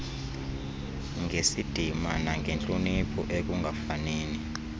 ngesidima nangentloniphi ekungafanini